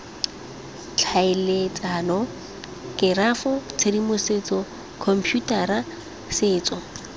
tlhaeletsano kerafo tshedimosetso khomputara setso